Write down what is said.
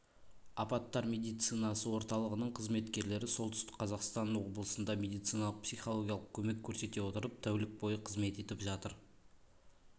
апаттар медицинасы орталығының қызметкерлері солтүстік қазақстан облысында медициналық-психологиялық көмек көрсете отырып тәулік бойы қызмет етіп жатыр